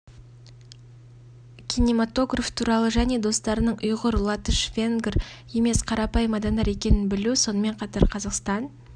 киноматограф туралы және достарыңның ұйғыр латыш венгр емес қарапайым адамдар екенін білу сонымен қатар қазақстан